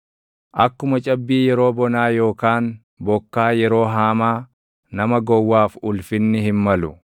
Akkuma cabbii yeroo bonaa yookaan bokkaa yeroo haamaa, nama gowwaaf ulfinni hin malu.